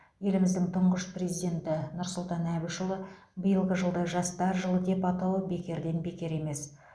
еліміздің тұңғыш президенті нұрсұлтан әбішұлы биылғы жылды жастар жылы деп атауы бекерден бекер емес